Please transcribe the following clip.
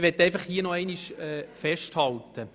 Ich möchte noch einmal Folgendes festhalten: